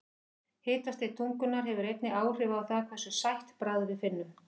Hitastig tungunnar hefur einnig áhrif á það hversu sætt bragð við finnum.